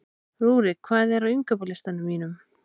Rúrik, hvað er á innkaupalistanum mínum?